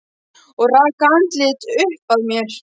Og rak andlitið upp að mér.